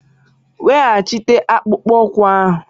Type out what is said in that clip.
Weghachite akpụkpọ ụkwụ ahụ!